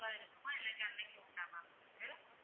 இருக்குமா இல்லன்னா அனைக்கும் உண்டா ma'am எங்களுக்கு